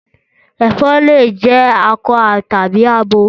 Ẹ̀fan lè jẹ akọ tàbí abo.